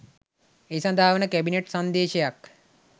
ඒ සඳහා වන කැබිනට් සංදේශයක්